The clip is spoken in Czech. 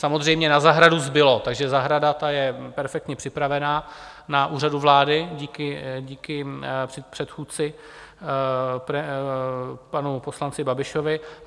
Samozřejmě na zahradu zbylo, takže zahrada, ta je perfektně připravená na Úřadu vlády díky předchůdci, panu poslanci Babišovi.